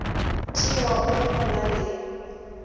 tšewago ge go na le